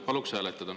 Paluks hääletada.